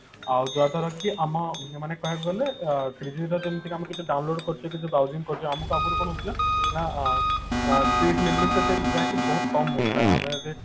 ଆଉ ଯାହା ଦ୍ଵାରା କି ଆମ ମାନେ କଣ କହିଲେ three G ଯୋଉଟା କି ଯଦି ଆମେ କିଛି download କରୁଛେ କି browsing କରୁଛେ ଆମକୁ ଆଗରୁ କଣ ହଉଥିଲା ନା ଅ speed limit ଟା ଯାହାକି ବହୁତ କମ ମିଳୁଥିଲା ଆମେ ଯଦି